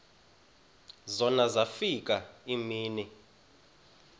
zona zafika iimini